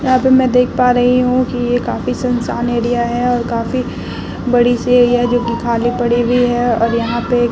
यहाँ पे मैं देख पा रही हूँ की ये काफ़ी सुनसान एरिया है और काफी बड़ी-सी है यह जो खाली पड़ी हुई है और यहाँ पे --